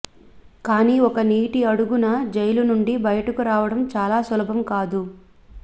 కానీ ఒక నీటి అడుగున జైలు నుండి బయటకు రావడం చాలా సులభం కాదు